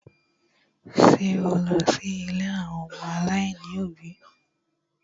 Ṣé o lọ sí ilé àwọn ọmọ aláìní òbí?